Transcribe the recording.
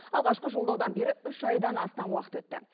алғашқы жолдаудан бері үш айдан астам уақыт өтті